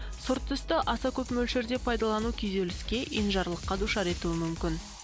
сұр түсті аса көп мөлшерде пайдалану күйзеліске енжарлыққа душар етуі мүмкін